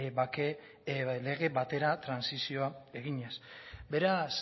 bake lege batera trantsizioa eginez beraz